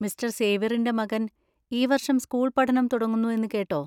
Mister സേവ്യറിന്‍റെ മകൻ ഈ വർഷം സ്കൂൾപഠനം തുടങ്ങുന്നു എന്ന് കേട്ടോ?